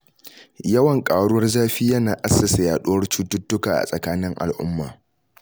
Yawan ƙaruwar zafi yana assasa yaɗuwar cututtuka a tsakanin al'umma